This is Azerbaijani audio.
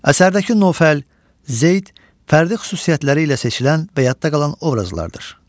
Əsərdəki Nofəl, Zeyd fərdi xüsusiyyətləri ilə seçilən və yadda qalan obrazlardır.